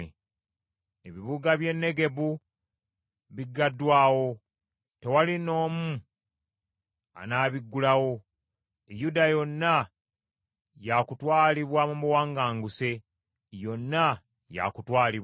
Ebibuga by’e Negebu biggaddwawo, tewali n’omu anaabiggulawo; Yuda yonna yaakutwalibwa mu buwaŋŋanguse, yonna yaakutwalibwa.